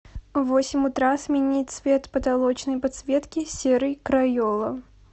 в восемь утра сменить цвет потолочной подсветки серый крайола